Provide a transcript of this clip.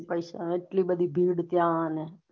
નેપેસા એટલી બધી ભીડ અને